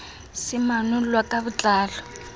se manollwa ka bo tlalo